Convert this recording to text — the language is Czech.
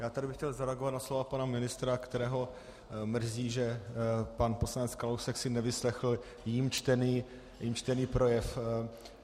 Já bych tady chtěl zareagovat na slova pana ministra, kterého mrzí, že pan poslanec Kalousek si nevyslechl jím čtený projev.